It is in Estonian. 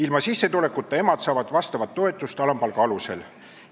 Ilma sissetulekuta emad saavad vastavat toetust alampalga alusel.